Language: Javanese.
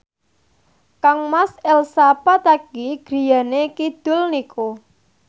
kangmas Elsa Pataky griyane kidul niku